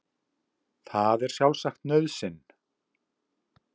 Það er sjálfsagt nauðsyn